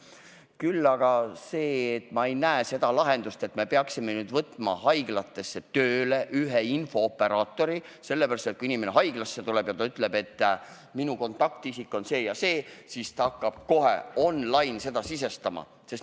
Küll aga tahan ma öelda, et ma ei näe lahendust selles, et peaksime nüüd võtma haiglatesse tööle ühe infooperaatori, kes siis, kui inimene haiglasse tuleb ja ütleb, et minu kontaktisik on see ja see, hakkab seda kohe online-süsteemi sisestama.